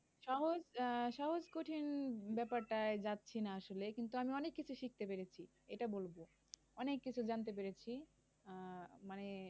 সহজ আহ সহজ কঠিন ব্যাপারটায় যাচ্ছি না আসলে। কিন্তু আমি অনেক কিছু শিখতে পেরেছি এটা বলব। অনেক কিছু জানতে পেরেছি। আহ মানে